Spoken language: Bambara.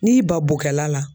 N'i ba bokɛla la